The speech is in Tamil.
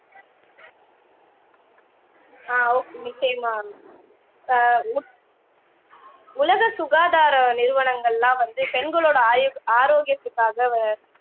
ஆஹ் ஒகே நிச்சயமா ஆஹ் உலக சுகாதார நிறுவனங்கள் எல்லாம் வந்து பெண்களோட ஆஆரோக்கியத்துக்காக